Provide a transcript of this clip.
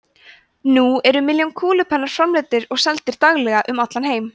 nú eru milljónir kúlupenna framleiddir og seldir daglega um allan heim